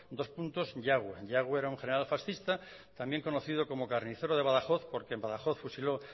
yagüe yagüe era un general fascista conocido como el carnicero de badajoz porque en badajoz fusiló